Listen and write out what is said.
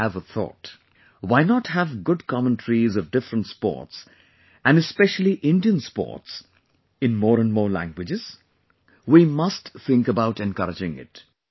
I have a thought Why not have good commentaries of different sports and especially Indian sports in more and more languages, we must think about encouraging it